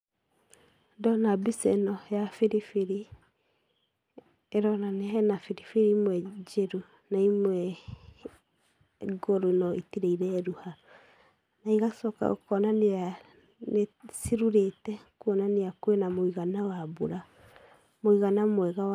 Ndona mbica ĩno ya biribiri, ĩronania he na biribiri imwe njĩru. Na imwe ngũrũ no itirĩ ireruha. Na igacoka kuonania cirurĩte kuona kwĩ na mũigana mwega wa mbura.